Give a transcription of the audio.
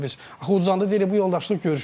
Axı o zanda deyirik bu yoldaşlıq görüşü idi.